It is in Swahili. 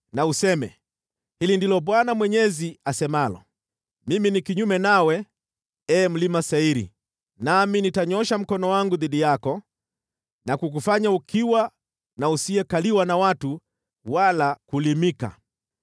na useme: ‘Hili ndilo Bwana Mwenyezi asemalo: Mimi ni kinyume nawe, ee mlima Seiri, nami nitanyoosha mkono wangu dhidi yako na kukufanya ukiwa na usiyekaliwa na watu wala kulimika.